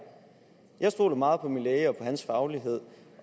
jeg stoler meget på min læge og på hans faglighed